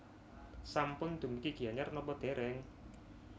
Sampun dumugi Gianyar nopo dereng?